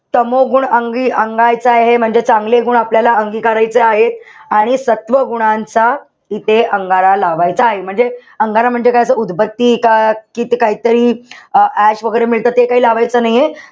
तमोगुण अंगी अंगायचा आहे. म्हणजे चांगले गुण आपल्याला अंगिकारायचे आहे. आणि सत्व गुणांचा इथे अंगारा लावायचा आहे. म्हणजे, अंगारा म्हणजे असं उदबत्ती का कित काहीतरी अं ash वैगेरे मिळतात, ते काई लावायचं नाहीये.